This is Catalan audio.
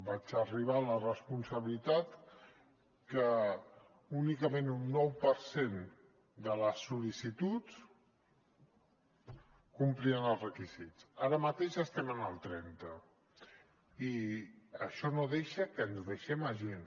vaig arribar a la responsabilitat que únicament un nou per cent de les sol·licituds complien els requisits ara mateix estem en el trenta i això no deixa que ens deixem gent